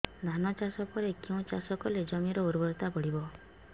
ଧାନ ଚାଷ ପରେ କେଉଁ ଚାଷ କଲେ ଜମିର ଉର୍ବରତା ବଢିବ